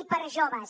i per a joves